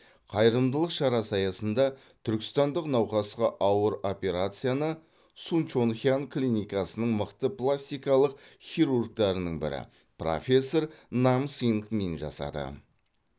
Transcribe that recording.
қайырымдылық шарасы аясында түркістандық науқасқа ауыр операцияны сунчонхян клиникасының мықты пластикалық хирургтарының бірі профессор нам сынг мин жасады